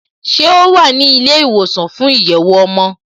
Ṣé o wà ní ilé ìwòsàn fún ìyẹ̀wò ọmọ?